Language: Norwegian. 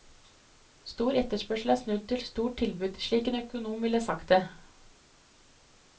Stor etterspørsel er snudd til stort tilbud, slik en økonom ville sagt det.